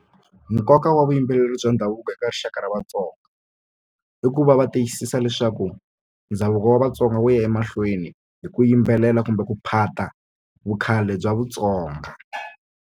Nkoka wa vuyimbeleri bya ndhavuko eka rixaka ra Vatsonga i ku va va tiyisisa leswaku ndhavuko wa Vatsonga wu ya emahlweni hi ku yimbelela kumbe ku phata vu khale bya Vutsonga.